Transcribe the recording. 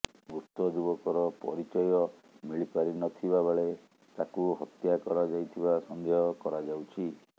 ମୃତ ଯୁବକର ପରିଚୟ ମିଳିପାରି ନ ଥିବା ବେଳେ ତାକୁ ହତ୍ୟା କରାଯାଇଥିବା ସନ୍ଦେହ କରାଯାଉଛି